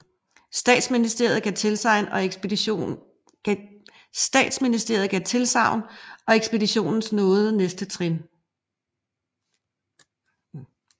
Statsministeriet gav tilsagn og ekspeditionens nåede næste trin